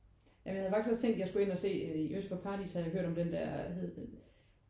Ja men jeg havde faktisk også tænkt at jeg skulle ind og se i Øst for Paradis havde jeg hørt om den der hvad hed den?